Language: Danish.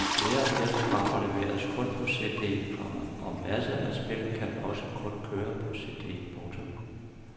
Flere og flere programmer leveres kun på cd, komma og masser af spil kan også kun køre på cd. punktum